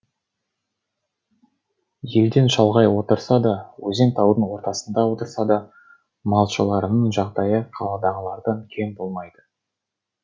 елден шалғай отырса да өзен таудың ортасында отырса да малшыларының жағдайы қаладағылардан кем болмайды